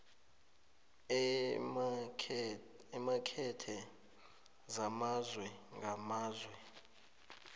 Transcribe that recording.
eemakethe zamazwe ngamazwe